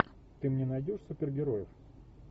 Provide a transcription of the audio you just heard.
ты мне найдешь супергероев